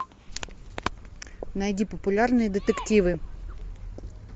найди популярные детективы